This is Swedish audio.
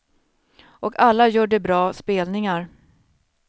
Och alla gör de bra spelningar.